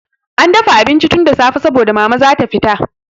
An dafa abinci tun da safe saboda Mama za ta fita.